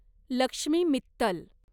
Lakshmi Mittal